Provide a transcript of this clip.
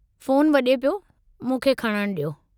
Phone वजे॒ पियो, मूंखे खणणु डि॒यो।